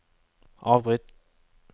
avbryt